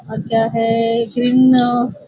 और क्या है ग्रीन --